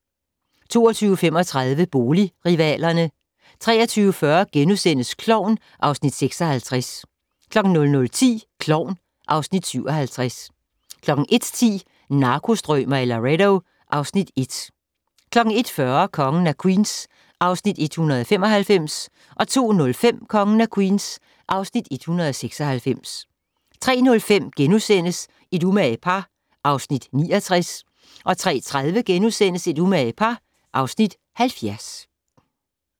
22:35: Boligrivalerne 23:40: Klovn (Afs. 56)* 00:10: Klovn (Afs. 57) 01:10: Narkostrømer i Laredo (Afs. 1) 01:40: Kongen af Queens (Afs. 195) 02:05: Kongen af Queens (Afs. 196) 03:05: Et umage par (Afs. 69)* 03:30: Et umage par (Afs. 70)*